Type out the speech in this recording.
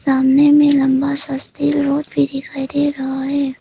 सामने में लंबा सा स्टील रॉड भी दिखाई दे रहा है।